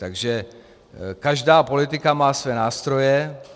Takže každá politika má své nástroje.